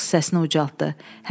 Monks səsini ucaltdı,